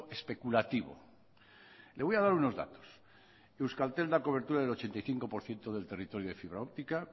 especulativo le voy a dar unos datos euskaltel da cobertura al ochenta y cinco por ciento del territorio de fibra óptica